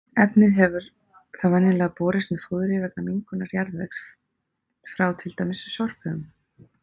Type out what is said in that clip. Efnið hefur þá venjulega borist með fóðri vegna mengunar jarðvegs frá til dæmis sorphaugum.